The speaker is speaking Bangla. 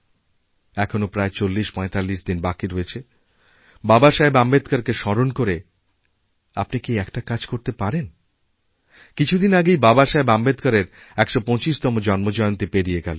এখনও প্রায় চল্লিশপঁয়তাল্লিশ দিন বাকি রয়েছে বাবাসাহেব আম্বেদকরকেস্মরণ করে আপনি কি একটা কাজ করতে পারেন কিছুদিন আগেই বাবাসাহেব আম্বেদকরের ১২৫তমজন্মজয়ন্তী পেরিয়ে গেল